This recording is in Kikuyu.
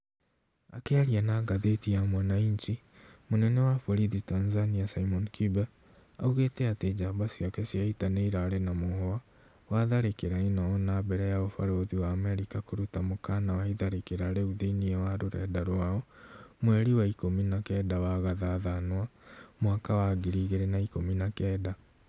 Akĩaria na gathĩti ya Mwananchi, mũnene wa borithi Tanzania Simon Kibe augĩte atĩ jamba ciake cia ita nĩirarĩ na mũhwa wa tharĩkĩra ĩno ona mbere ya ũbarothi wa Amerika kũruta mũkana wa itharĩkĩra rĩu thĩiniĩ wa rũrenda rwao mweri wa ikũmi na kenda wa Gathathanwa , mwaka wa ngiri igĩrĩ na ikũmi na kenda